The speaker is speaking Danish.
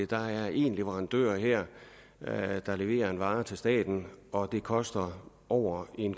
der er en leverandør her her der leverer en vare til staten og det koster over en